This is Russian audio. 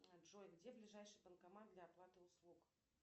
джой где ближайший банкомат для оплаты услуг